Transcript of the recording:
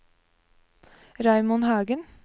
Raymond Hagen